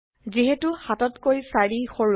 যিহেতু ৭ তকৈ ৪ সৰু